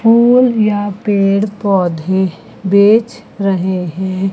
Full या पेड़ पौधे बेच रहे हैं।